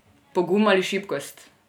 Pogum ali šibkost?